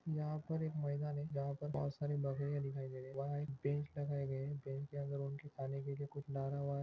यहाँ पर एक मैदान है जहाँ पर बहुत सारे बकरिया दिखाई दे रही है वहा एक बेंच लगाए गए है बेंच के अन्दर उनके खाने के लिए कुछ डाला हुआ--